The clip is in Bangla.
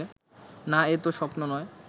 না এ তো স্বপ্ন নয়